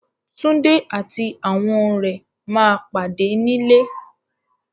Túndé àti àwọn rẹ̀ ma pàdé nílé